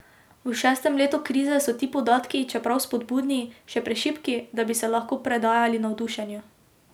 V šestem letu krize so ti podatki, čeprav spodbudni, še prešibki, da bi se lahko predajali navdušenju.